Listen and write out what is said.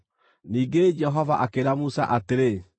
Ningĩ Jehova akĩĩra Musa atĩrĩ: